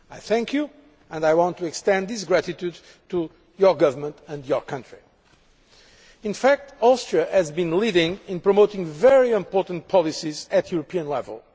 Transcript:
I thank you and I want to extend this gratitude to your government and your country. In fact, Austria has been leading in promoting very important policies at European level.